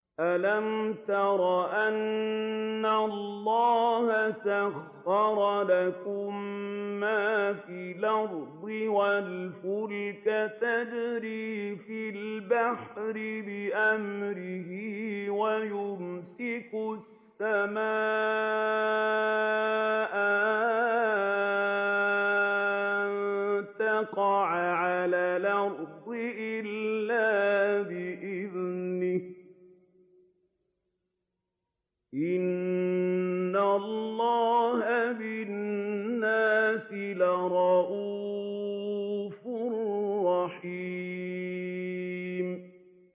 أَلَمْ تَرَ أَنَّ اللَّهَ سَخَّرَ لَكُم مَّا فِي الْأَرْضِ وَالْفُلْكَ تَجْرِي فِي الْبَحْرِ بِأَمْرِهِ وَيُمْسِكُ السَّمَاءَ أَن تَقَعَ عَلَى الْأَرْضِ إِلَّا بِإِذْنِهِ ۗ إِنَّ اللَّهَ بِالنَّاسِ لَرَءُوفٌ رَّحِيمٌ